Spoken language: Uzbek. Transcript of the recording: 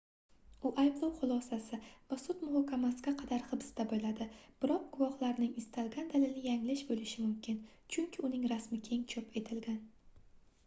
u ayblov xulosasi va sud muhokamasiga qadar hibsda boʻladi biroq guvohlarning istalgan dalili yanglish boʻlishi mumkin chunki uning rasmi keng chop etilgan